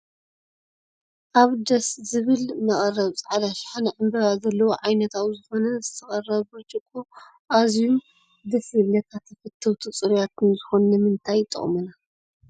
ኣበ ደስ ዝብል መቀረቢ ፃዕዳ ሽሓነ ዕንበባ ዘለዎ ዓይነት ኣብ ዘኮነ ዝተቀረበ ብርጭቆ ኣዝዩም ደስ ዝብልካ ተፈተውቲ ፅሩያትን ዝኮኑ ንምንታይ ይጠቅሙና?